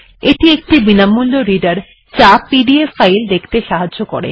এটি এই স্থানে ইনস্টল হয়েছে